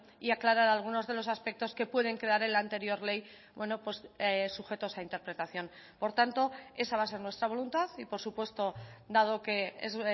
y aclarar algunos de los aspectos que pueden quedar en la anterior ley sujetos a interpretación por tanto esa va a ser nuestra voluntad y por supuesto dado que es